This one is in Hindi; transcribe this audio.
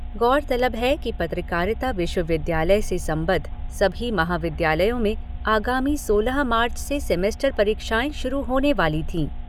गौरतलब है कि पत्रकारिता विश्वविद्यालय से संबद्ध सभी महाविद्यालयों में आगामी सोलह मार्च से सेमेस्टर परीक्षाएं शुरू होने वाली थीं।